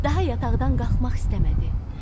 Daha yataqdan qalxmaq istəmədi.